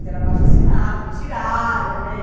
Fizeram abaixo-assinado, me tiraram, né?